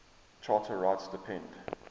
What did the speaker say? charter rights depend